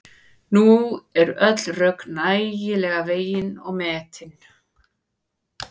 Nú eru öll rök nægilega vegin og metin.